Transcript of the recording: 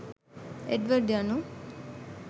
එඩ්වඩ් යනු